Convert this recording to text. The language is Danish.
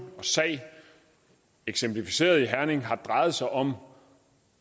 og sag eksemplificeret ved herning har drejet sig om